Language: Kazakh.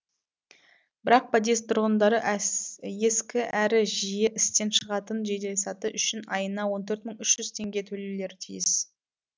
бірақ подъезд тұрғындары ескі әрі жиі істен шығатын жеделсаты үшін айына он төрт мың үш жүз теңге төлеулері тиіс